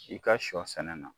I ka sɔ sɛnɛ na